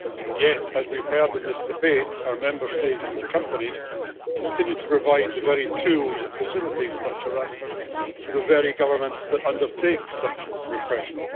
Yet, as we have heard in this debate, our Member States and companies continue to provide the very tools that facilitate such harassment to the very governments that undertake such repression.